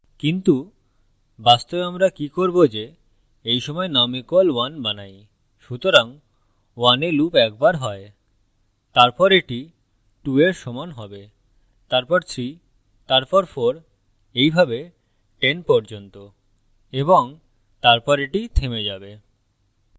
কিন্তু বাস্তবে আমরা কি করব যে এই সময় num = 1 বানাই সুতরাং 1 we loop একবার হয় তারপর এটি 2 এর সমান হবে তারপর 3 তারপর 4 এইভাবে 10 পর্যন্ত এবং তারপর এটি থেমে যাবে